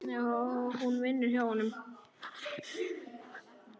Hún vinnur hjá honum.